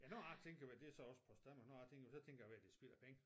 Men nu jeg tænker men det så også Post Danmark nu jeg tænker men så tænker jeg det spild af penge